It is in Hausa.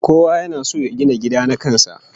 Kowa yana son ya gina gida na kan sa